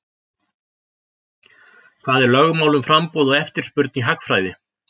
Hvað er lögmál um framboð og eftirspurn í hagfræði?